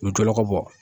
U bɛ jɔ ko bɔ